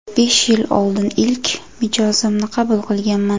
Besh yil oldin ilk mijozimni qabul qilganman.